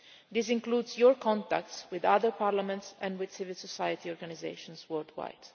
This includes your contacts with other parliaments and with civil society organisations worldwide.